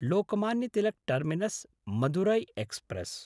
Lokmanya Tilak टर्मिनस्–मदुरै express